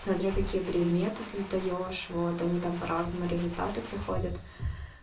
смотря какие предметы ты сдаёшь вот они там по-разному результаты приходят